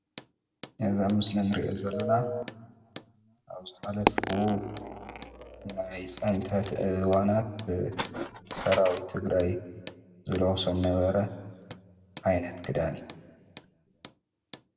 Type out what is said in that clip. እዚ ኣብ ምስሊ ንሪኦ ዘለና ኣብ ዝሓለፉ ናይ ፅንተት እዋናት ሰራዊት ትግራይ ዝለብሶም ዝነበረ ዓይነት ክዳን እዩ።